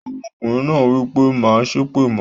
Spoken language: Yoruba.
Ọmọkùnrin náà wípé "Má á sépè mọ"